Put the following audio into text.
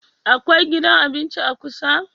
Akwai gidan abinci kusa?